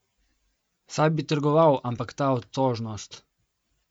Saj bi trgoval, ampak ta otožnost!